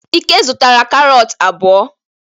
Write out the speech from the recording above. Ike zụtara karọt abụọ.